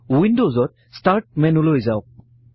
উইন্ডজত start মেনুলৈ যাওঁক